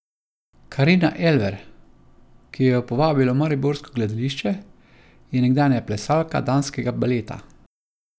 Karina Elver, ki jo je povabilo mariborsko gledališče, je nekdanja plesalka danskega baleta.